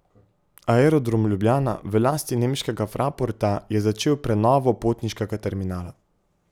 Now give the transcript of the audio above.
Aerodrom Ljubljana, v lasti nemškega Fraporta, je začel prenovo potniškega terminala.